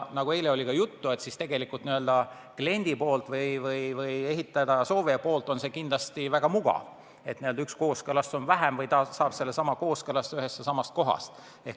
Nagu ka eile juttu oli, n-ö kliendi või ehitada soovija seisukohalt on see kindlasti väga mugav, et üks kooskõlastus on vähem ja ta saab vajaliku kooskõlastuse ühest kohast.